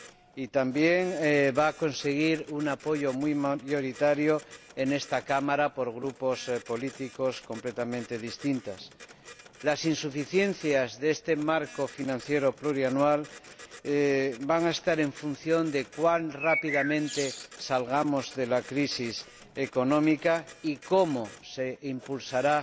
Y también van a conseguir un apoyo muy mayoritario en esta Cámara por grupos políticos completamente distintos. Las insuficiencias de este marco financiero plurianual van a estar en función de la rapidez con que salgamos de la crisis económica y de cómo se impulsará